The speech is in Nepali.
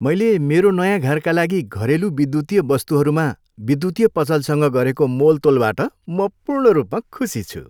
मैले मेरो नयाँ घरका लागि घरेलु विद्युतीय वस्तुहरूमा विद्युतीय पसलसँग गरेको मोलतोलबाट म पूर्ण रूपमा खुसी छु।